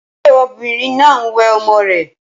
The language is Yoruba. Ṣé obìnrin náà ń wẹ ọmọ rè?